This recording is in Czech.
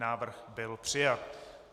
Návrh byl přijat.